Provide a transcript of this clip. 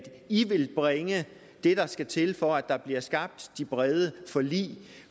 i vil bringe det der skal til for at der bliver skabt de brede forlig